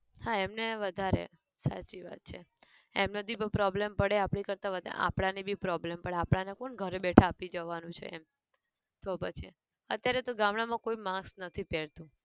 હા એમને વધારે, સાચી વાત છે. એમના થી બઉ problem પડે આપડી કરતા વધારે આપણા ની બી problem પડે આપડા ને કોન ઘરે બેઠા આપી જવાનું છે એમ, તો પછી, અત્યારે તો ગામડાં માં કોઈ mask નથી પહેરતું.